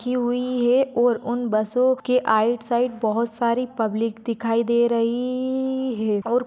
रखी हुई है और उन बसो के आइट साइड बहूत सारी पब्लिक दिखाई दे रही ही है और--